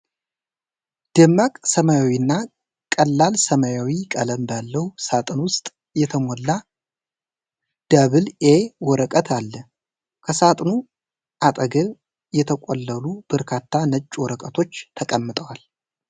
ደማቅ ሰማያዊና ቀላል ሰማያዊ ቀለም ባለው ሳጥን ውስጥ የተሞላ "ዳብል ኤ" ወረቀት አለ። ከሳጥኑ አጠገብ የተቆለሉ በርካታ ነጭ ወረቀቶች ተቀምጠዋል።